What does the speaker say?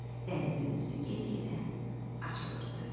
dənizin üzü get-gedə açılırdı.